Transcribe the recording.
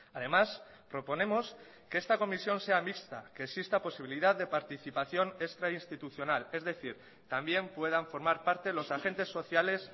además proponemos que esta comisión sea mixta que exista posibilidad de participación extrainstitucional es decir también puedan formar parte los agentes sociales